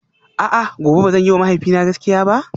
A'a gobe ba zan yiwa mahaifina gaskiya ba?